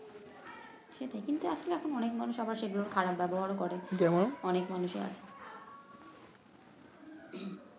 সেটাই কিন্তু আসলে এখন অনেক মানুষে আবার সেগুলোর খারাপ ব্যাবহার ও করে